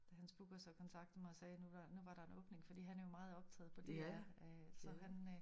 Da hans booker så kontaktede mig og sagde nu var nu var der en åbning fordi han er jo meget optaget på DR øh så han øh